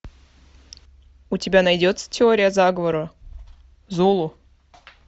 у тебя найдется теория заговора зулу